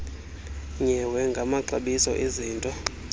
nyewe ngamaxabiso ezinto